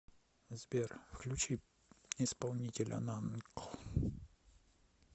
сбер включи исполнителя накл